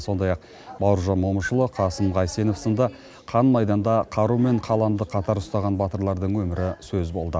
сондай ақ бауыржан момышұлы қасым қайсенов сынды қан майданда қару мен қаламды қатар ұстаған батырлардың өмірі сөз болды